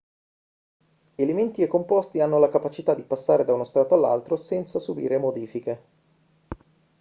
elementi e composti hanno la capacità di passare da uno stato all'altro senza subire modifiche